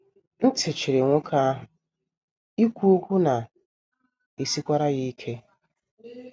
Ntị chiri nwoke ahụ, ikwu okwu na - esikwara ya ike.